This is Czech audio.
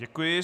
Děkuji.